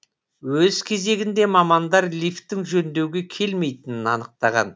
өз кезегінде мамандар лифтің жөндеуге келмейтінін анықтаған